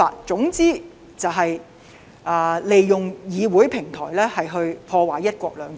總言之，就是利用議會平台來破壞"一國兩制"。